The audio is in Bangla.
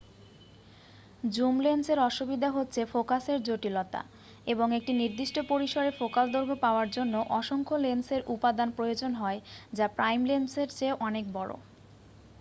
জুম লেন্সের অসুবিধা হচ্ছে ফোকাসের জটিলতা এবং একটি নির্দিষ্ট পরিসরের ফোকাল দৈর্ঘ্য পাওয়ার জন্য অসংখ্য লেন্সের উপাদান প্রয়োজন হয় যা প্রাইম লেন্সের চেয়ে অনেক বড়